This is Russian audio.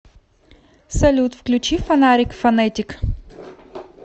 салют включи на фонарик фонетик